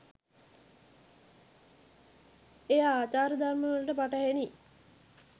එය ආචාර ධර්මවලට පටහැනි